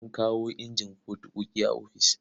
An kawo injin fotokofi a ofis.